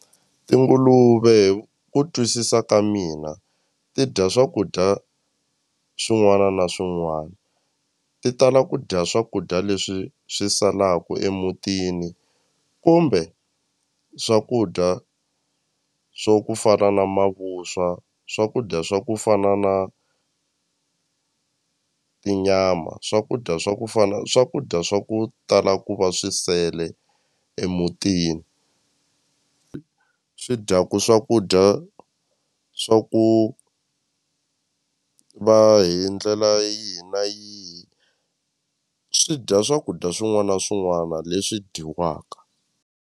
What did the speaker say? Tinguluve hi ku twisisa ka mina ti dya swakudya swin'wana na swin'wana ti tala ku dya swakudya leswi swi salaku emutini kumbe swakudya swo ku fana na mavuswa swakudya swa ku fana na tinyama swakudya swa ku fana swakudya swa ku tala ku va swi sele emutini swi dyaku swakudya swa ku va hi ndlela yihi na yihi swi dya swakudya swin'wana na swin'wana leswi dyiwaka.